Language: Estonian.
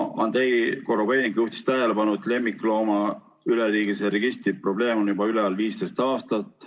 Andrei Korobeinik juhtis tähelepanu, et üleriigilise lemmikloomaregistri probleem on juba üleval 15 aastat.